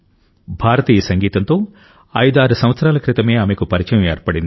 భారతీయ సంగీతంతో 56 సంవత్సరాల క్రితమే ఆమెకు పరిచయం ఏర్పడింది